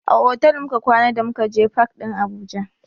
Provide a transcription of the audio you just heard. A otal muka kwana da muka je fak ɗin Abuja.